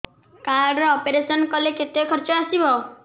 card ରେ operation କଲେ କେତେ ଖର୍ଚ ଆସିବ